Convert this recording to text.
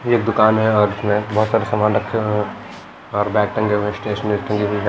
ये दुकान है और इसमें बहुत सारे सामान रखे हुए हैंऔर बैग टंगे हुए हैं स्टेशनरी टंगी हुई है।